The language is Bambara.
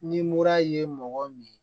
Ni mura ye mɔgɔ min ye